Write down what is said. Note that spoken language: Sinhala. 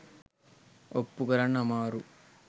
ඔප්පු කරන්න අමාරු.